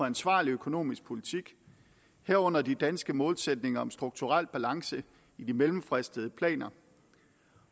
ansvarlig økonomisk politik herunder de danske målsætninger om strukturel balance i de mellemfristede planer